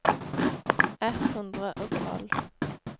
ett hundre og tolv